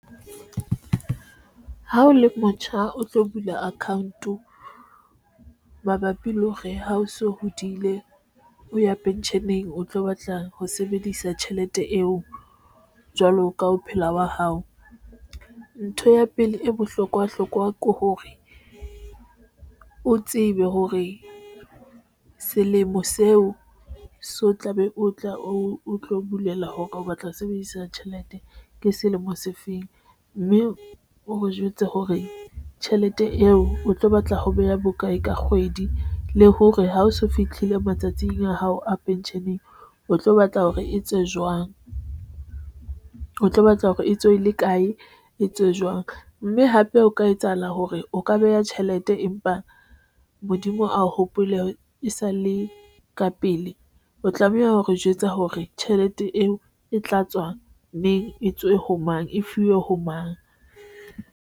Ha o le motjha, o tlo bula account o mabapi le hore ha o so hodile o ya pension eng o tlo batla ho sebedisa tjhelete eo jwalo ka ho phelwa ng wa hao. Ntho ya pele e bohlokwa hlokwa ke hore o tsebe hore selemo seo so tlabe o tle o tlo bulela hore o batla ho sebedisa tjhelete ke selemo se feng mme o jwetse hore tjhelete eo o tlo batla ho beha bokae ka kgwedi le hore ha o so fihlile matsatsing a hao a pension eng. O tlo batla hore e tswe jwang? O tlo batla hore e tswe le kae e tswe jwang mme hape o ka etsahala hore o ka beha tjhelete, empa Modimo a o hopole e sa le ka pele. O tlameha hore jwetsa hore tjhelete eo e tla tswang neng e tswe ho mang, e fuwe ho mang?